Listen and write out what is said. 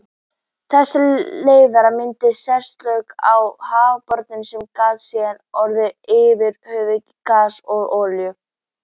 Þessar leifar mynda setlög á hafsbotninum sem geta síðar orðið efniviður í gas og olíu.